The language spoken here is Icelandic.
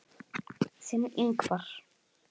Þinn, Ingvar.